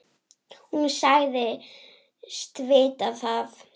Hún sagðist vita það.